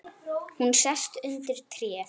Hún sest undir tréð.